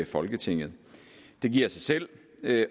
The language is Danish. folketinget det giver sig selv